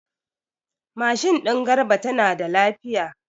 Mashin din Garba tana da lafiya.